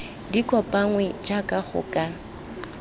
di kopanngwe jaaka go ka